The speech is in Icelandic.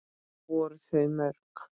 Voru þau mörg?